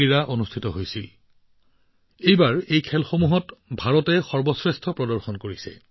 এইবাৰ ভাৰতৰ খেলুৱৈসকলে এই খেলসমূহত সৰ্বোত্তম প্ৰদৰ্শন কৰে